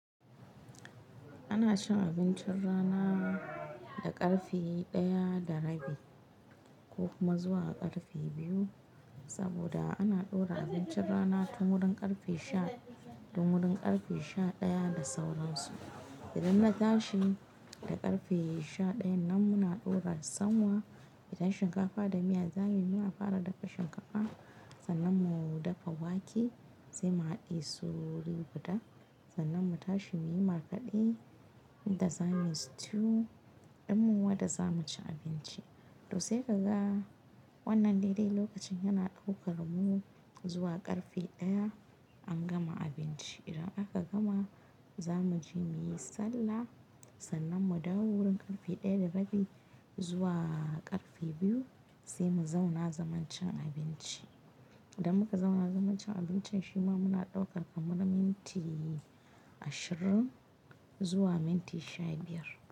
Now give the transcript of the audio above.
Ana cin abincin rana da karfe ɗaya da rabi ko kuma zuwa karfe biyu. Saboda ana ɗora abincin rana tun wurin karfe sha, tun wurin karfe sha ɗaya da sauransu. Idan na tashi da karfe sha ɗayan nan muna ɗora sanwa, idan shinkafa da miya za mu yi muna fara dafa shinkafa sannan mu dafa wake sai mu haɗe su wuri guda. Sannan mu tashi muyi markaɗe, inda za muyi stew ɗinmu wadda za mu ci abinci. To sai kaga wannan dai dai lokacin yana ɗaukar mu zuwa karfe ɗaya an gama abinci. Idan aka gama za mu je muyi sallah sannan mu dawo wurin karfe ɗaya da rabi zuwa karfe biyu sai mu zauna zaman cin abinci. Da muka zauna zaman cin abincin shi ma muna ɗaukar kamar minti ashirin zuwa minti sha biyar.